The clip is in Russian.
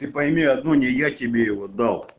пойми одно не я тебе и вода